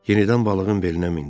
Yenidən balığın belinə mindi.